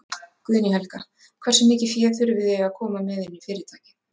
Guðný Helga: Hversu mikið fé þurfið þið að koma með inn í fyrirtækið?